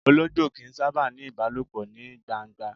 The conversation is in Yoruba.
Ológbò kìí sábà ni ìbálòpọ̀ ní gbangba.